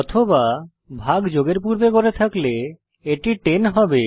অথবা ভাগ যোগের পূর্বে করে থাকলে এটি 10 হবে